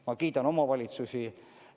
Ma kiidan omavalitsusi.